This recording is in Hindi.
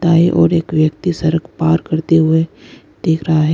दाई ओर एक व्यक्ति सड़क पार करते हुए देख रहा है।